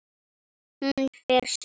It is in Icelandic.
Hún fer suður.